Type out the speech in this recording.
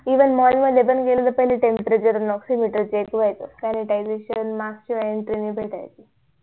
even mall मध्ये पण गेलं त पहिले temperature oximeter check होयच sanitization